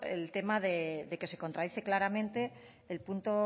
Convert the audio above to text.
el tema de que se contradice claramente el punto